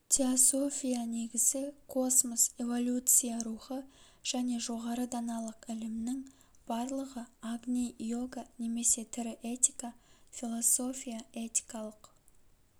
теософия негізі космос эволюция рухы және жоғары даналық ілімнің барлығы агни йога немесе тірі этика философия-этикалық